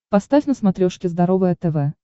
поставь на смотрешке здоровое тв